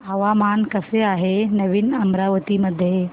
हवामान कसे आहे नवीन अमरावती मध्ये